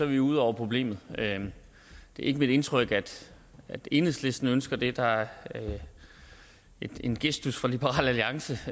vi ude over problemet det er ikke mit indtryk at enhedslisten ønsker det der er en gestus fra liberal alliance